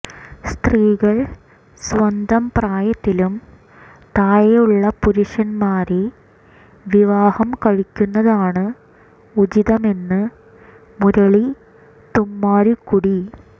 സ്ത്രീകൾ സ്വന്തം പ്രായത്തിലും താഴെയുള്ള പുരുഷൻമാരെ വിവാഹം കഴിക്കുന്നതാണ് ഉചിതമെന്ന് മുരളി തുമ്മാരുകുടി